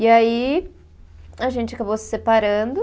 E aí, a gente acabou se separando.